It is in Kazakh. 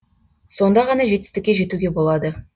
сонда ғана жетістікке жетуге болады